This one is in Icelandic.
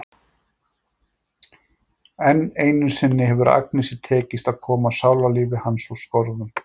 Enn einu sinni hefur Agnesi tekist að koma sálarlífi hans úr skorðum.